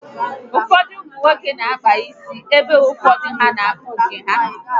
Ụfọdụ ụmụnwoke n'akpa isi ebe ụfọdụ n'akpụ nke ha